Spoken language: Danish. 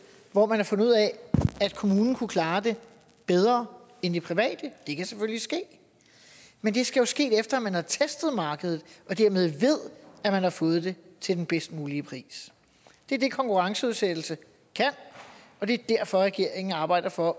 hvor man har fundet ud af at kommunen kunne klare det bedre end de private det kan selvfølgelig ske men det skal jo ske efter at man har testet markedet og dermed ved at man har fået det til den bedst mulige pris det er det konkurrenceudsættelse kan og det er derfor at regeringen arbejder for